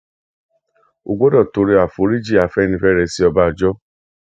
o gbọdọ tọrọ àforíjìn afẹnifẹre sí ọbànjọ